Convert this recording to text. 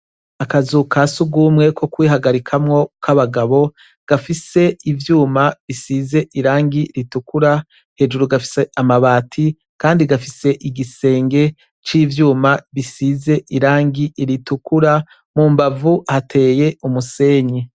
Akazu ka sugumwe ko kwihagarikamo kabagabo gafise ivyuma bisize irangi ritukura hejuru gafise amabati Kandi gafise igisenge civyuma gisize irangi ritukura mumbavu hateye umusenyi.